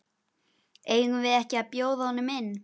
Eigum við ekki að bjóða honum inn?